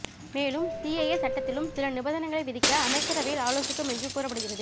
மேலும் சிஏஏ சட்டத்திலும் சில நிபந்தனைகளை விதிக்க அமைச்சரவையில் ஆலோசிக்கும் என்று கூறப்படுகிறது